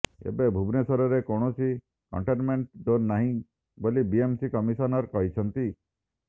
ଏବେ ଭୁବନେଶ୍ୱରରେ କୌଣସି କଣ୍ଟେନମେଣ୍ଟ ଜୋନ ନାହିଁ ବୋଲି ବିଏମ୍ସି କମିଶନର କହିଛନ୍ତି